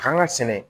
Kan ka sɛnɛ